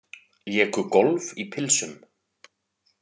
Léku golf í pilsum